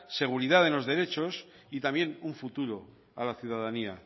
seguridad en los derechos y también un futuro a la ciudadanía